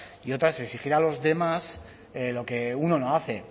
y otra es exigir a los demás lo que uno no hace